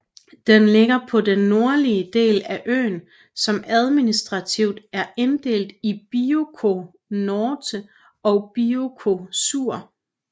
Den ligger på den nordlige del af øen som administrativt er inddelt i Bioko Norte og Bioko Sur